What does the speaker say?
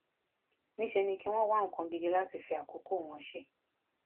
níṣẹ ni kí wọn wá nǹkan gidi láti fi àkókò wọn ṣe